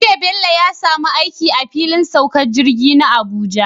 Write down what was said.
Jiya Bello ya samu aiki a filin saukar jirgi na Abuja